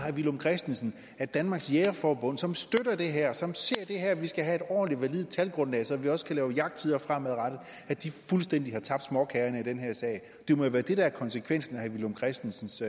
herre villum christensen at danmarks jægerforbund som støtter det her og som se at vi skal have et ordentligt validt talgrundlag så vi også kan lave jagttider fremadrettet fuldstændig har tabt småkagerne i den her sag det må jo være det der er konsekvensen af herre villum christensens